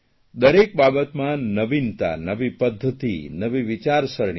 દરેક બાબતમાં નવીનતા નવી પદ્ધતિ નવી વિચારસરણી